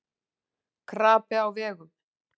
Krapi á vegum